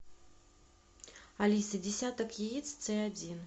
алиса десяток яиц ц один